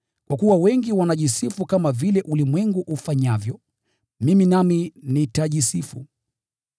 Kwa kuwa wengi wanajisifu kama vile ulimwengu ufanyavyo, mimi nami nitajisifu.